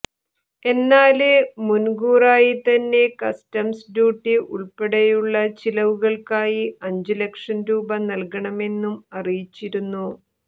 എന്നാല് മുന്കൂറായി തന്നെ കസ്റ്റംസ് ഡ്യൂട്ടി ഉള്പ്പെടെയുള്ള ചിലവുകള്ക്കായി അഞ്ച് ലക്ഷം രൂപ നല്കണമെന്നും അറിയിച്ചിരുന്നു